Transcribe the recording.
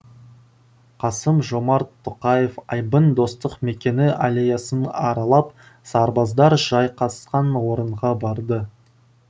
қасым жомарт тоқаев айбын достық мекені аллеясын аралап сарбаздар жайғасқан орынға барды